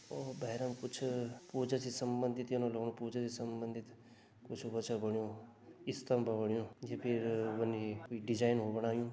ओ भैराम कुछ पूजा से संबंधित यनु लगणु पूजा से संबंधित कुछ व छ बणयुं स्तंभ बणयुं जै फिर डिजाइन बणायुं।